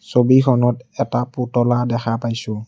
ছবিখনত এটা পুতলা দেখা পাইছোঁ।